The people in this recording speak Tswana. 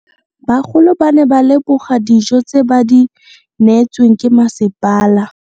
Bagolo ba ne ba leboga dijo tse ba do neetswe ke masepala.